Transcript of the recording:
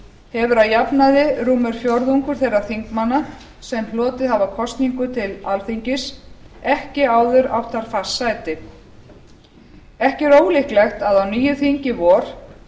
hefur að jafnaði rúmur fjórðungur þeirra þingmanna sem hlotið hafa kosningu til alþingis ekki áður átt þar fast sæti ekki er ólíklegt að á nýju þingi í vor